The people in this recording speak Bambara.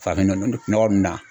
Farafin nɔ nɔ nɔgɔ nunnu na.